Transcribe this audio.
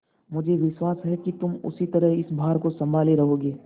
मुझे विश्वास है कि तुम उसी तरह इस भार को सँभाले रहोगे